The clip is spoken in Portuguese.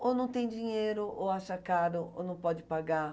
Ou não tem dinheiro, ou acha caro, ou não pode pagar.